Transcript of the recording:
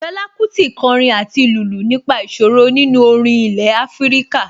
Fẹlá Kútì kọrin àti lùlù nípa ìṣòro nínú orin ilẹ̀ Afíríkà